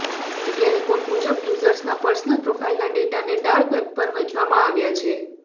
media report મુજબ યુઝર્સના personal પ્રોફાઇલના ડેટાને ડાર્ક વેબ પર વેંચવામાં આવ્યા છે